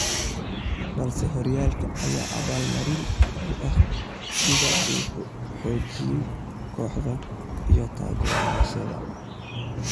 balse horyaalka ayaa abaal marin u ah sida uu u xoojiyay kooxda iyo taageerayaasheeda.